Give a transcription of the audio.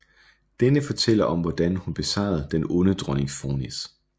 Denne fortæller om hvordan hun besejrede den onde dronning Fornis